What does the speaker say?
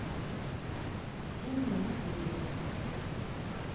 инну медведеву